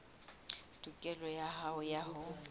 tokelo ya hao ya ho